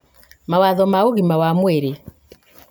mawatho ma ũgima wa mwĩrĩ